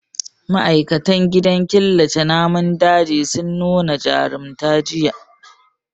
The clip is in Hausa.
Ma'aikatan gidan killace namun dajin sun nu na jarumta jiya.